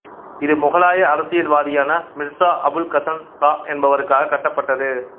இது முகலாய அரசியல்வாதியான மிர்சா அபுல் கசன் சா என்பவருக்காக கட்டப்பட்டது